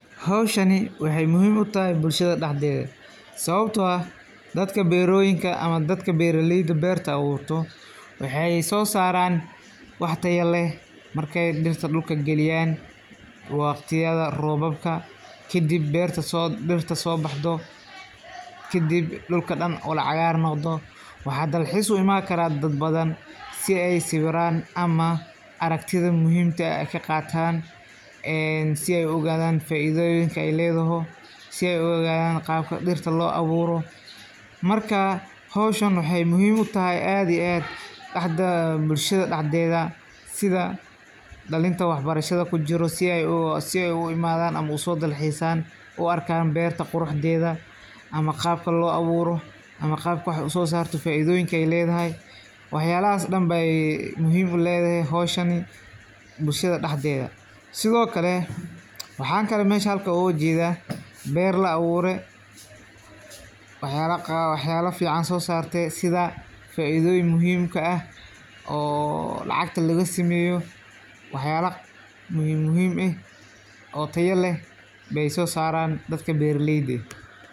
Howshani waxey muhim u tahay bulshada dexdeda sababto ah dadka beroyinka waxay si toos ah u saameyneysaa nolosha dadka ku nool deegaannadaas, gaar ahaan dadka beeraleyda ah. Beeraleydu waa laf-dhabarta dhaqaalaha bulshada, waxaana noloshooda ku tiirsan wax-soosaarka ay ka helaan dhulka. Marka la sameeyo hawlo taageera ama horumariya beeraha, waxay kor u qaadaysaa wax-soosaarka, taas oo keenta in la helo cunto ku filan